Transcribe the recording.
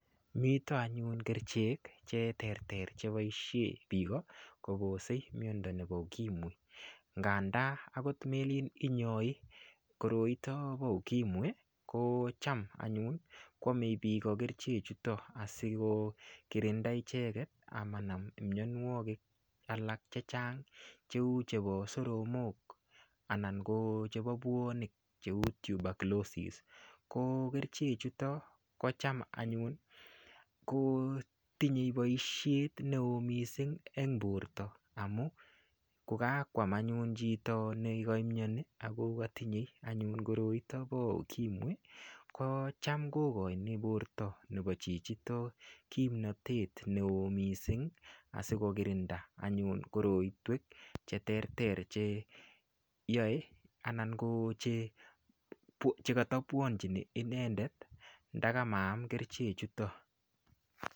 Mito anyun kerchek che terter cheboishe piko kopose miondo nepo ukimwi ng'anda akot melin inyoi koroito po ukimwi ko cham anyun koamei piko kerchek chuto asikokirinda icheket amanam imnyonwogik alak chechang cheu chepo soromok anan ko chepo puonik cheu tuberculosis ko kerchek chuto kocham anyun kotinyei boishet neon mising eng Porto amu kokakoam anyun chito nekaimnyani ako katinyei anyun koroito po ukimwi kocham kokoini porto nepo chichito kimnatet neo mising asikokirinda anyun korotwek cheterter che yoei anan ko chekata puanchini icheket ndakamaam kerchek chuto